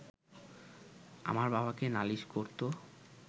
আমার বাবাকে নালিশ করতো